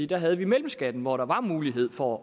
der havde vi mellemskatten hvor der var mulighed for